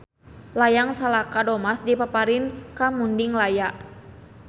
Layang Salaka Domas dipaparin ka Mundinglaya.